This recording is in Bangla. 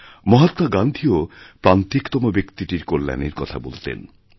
মহাত্মাগান্ধীও প্রান্তিকতম ব্যক্তিটির কল্যাণের কথা বলতেন